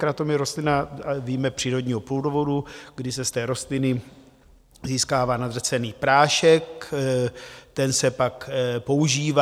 Kratom je rostlina, víme, přírodního původu, kdy se z té rostliny získává nadrcený prášek, ten se pak používá.